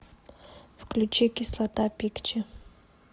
включи кислота пикчи